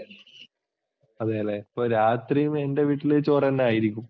അതല്ലേ? അപ്പോൾ രാത്രി നിൻ്റെ വീട്ടിൽ ചോറ് തന്നെ ആയിരിക്കും.